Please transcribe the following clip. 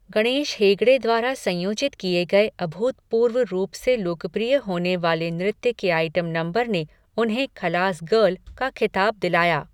गणेश हेगड़े द्वारा संयोजित किए गए अभूतपूर्व रूप से लोकप्रिय होने वाले नृत्य के आइटम नंबर ने उन्हें 'खलास गर्ल' का खिताब दिलाया।